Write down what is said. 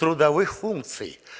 трудовых функций